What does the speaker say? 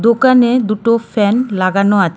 দোকানের দুটো ফ্যান লাগানো আ --